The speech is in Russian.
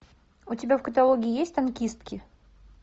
у тебя в каталоге есть танкистки